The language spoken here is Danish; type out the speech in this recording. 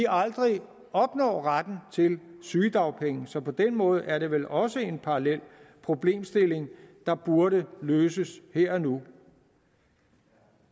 aldrig opnår retten til sygedagpenge så på den måde er det vel også en parallel problemstilling der burde løses her og nu